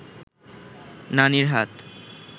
নানির হাত